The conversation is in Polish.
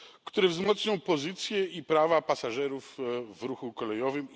które wzmocnią pozycję i prawa pasażerów w ruchu kolejowym.